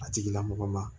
A tigilamɔgɔ ma